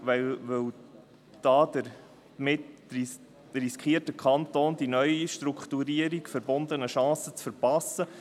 Denn damit riskiert der Kanton die mit der neuen Strukturierung verbundenen Chancen zu verpassen.